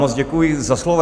Moc děkuji za slovo.